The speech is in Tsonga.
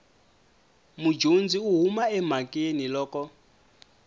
mudyondzi u huma emhakeni loko